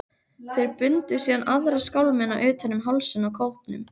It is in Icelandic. Þeir bundu síðan aðra skálmina utan um hálsinn á kópnum.